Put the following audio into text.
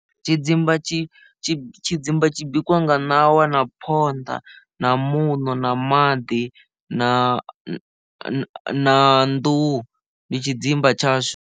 Tshidzimba tshi tshidzimba tshi bikiwa nga ṋawa na phonḓa na muṋo na maḓi na na nḓuhu ndi tshidzimba tshashu.